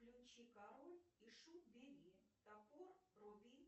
включи король и шут бери топор руби